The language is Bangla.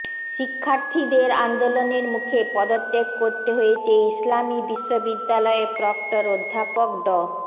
শিক্ষার্থীদের আন্দোলনের মুখে পদত্যাগ করতে হয়েছে ইসলামী বিশ্ববিদ্যালয়ের প্রক্টর অধ্যাপক ড